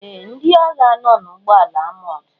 Ee! Ndị agha nọ n'ụgbọala amọọ̀d.